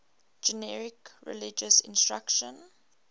generic religious instruction